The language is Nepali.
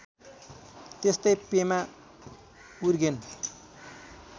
त्यस्तै पेमा उर्गेन